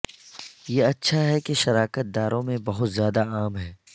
یہ اچھا ہے کہ شراکت داروں میں بہت زیادہ عام ہے